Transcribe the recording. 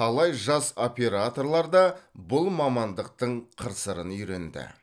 талай жас операторлар да бұл мамандықтың қыр сырын үйренді